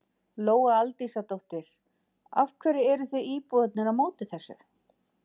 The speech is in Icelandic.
Lóa Aldísardóttir: Af hverju eruð þið íbúarnir á móti þessu?